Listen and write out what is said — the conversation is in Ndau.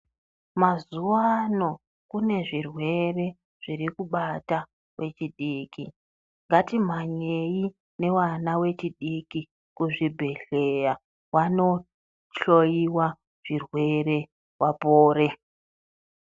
Mazuva ano kune zvirwere zvirikubata vechidiki. Ngatimwanyei nevana vechidiki kuzvibhedhleya vanohloiwa zvirwere vapore.